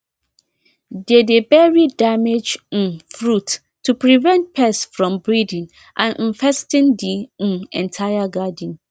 they dey bury damaged um fruits to prevent pests from breeding and infesting the um entire garden